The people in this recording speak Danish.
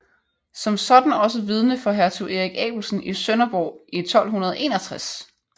Som sådan også vidne for hertug Erik Abelsen i Sønderborg i 1261